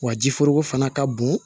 Wa ji foroko fana ka bon